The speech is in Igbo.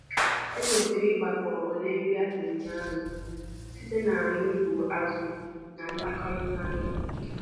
Ekwesịrị ịgbakọ ọnụọgụ nri dabere na ịdị arọ ahụ yana njupụta ngwaahịa.